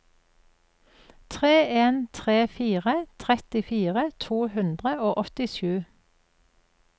tre en tre fire trettifire to hundre og åttisju